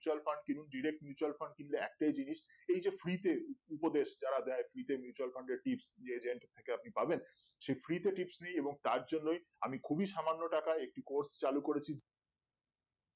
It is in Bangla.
mutual fund কিনুন direct mutual fund কিনলে একটাই জিনিস এই যে free তে উপদেশ যারা দেয় free তে mutual fund এর trips যে agent থেকে আপনি পাবেন সেই free তে trips নিয়ে এবং তার জন্যই আমি খুবই সামান্য টাকাই একটি cours চালু করেছি